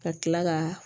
Ka kila ka